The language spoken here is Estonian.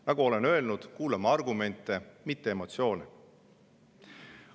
Nagu olen öelnud, kuulame argumente, mitte emotsioone.